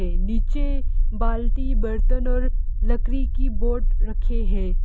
नीचे बाल्टी बर्तन और लकड़ी की बोट रखे है।